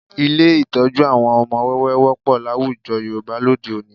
Ilé ìtọ́jú àwọn ọmọ wẹ́wẹ́ wọ́pọ̀ láwùjọ Yorùbá lóde òní